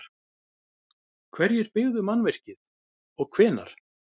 Hverjir byggðu mannvirkið og hvenær?